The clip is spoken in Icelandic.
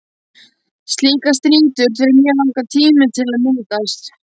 Slíkar strýtur þurfa mjög langan tíma til að myndast.